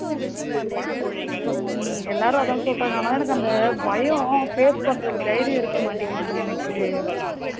ஹம் எல்லாரும் அதுதான் சொல்லுறாங்க ஆனா எனக்கு அந்த பயம் face பண்ணுறதுக்கு தைரியம் இருக்க மாட்டுக்குது டி எனக்கு